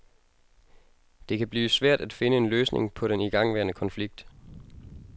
Det kan blive svært at finde en løsning på den igangværende konflikt.